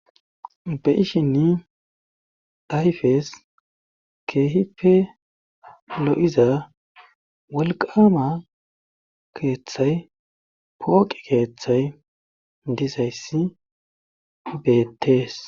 Ta ishinni dayppe keehipe lo7iza walqama keeththay pooqi keeththay dizayssi beettees.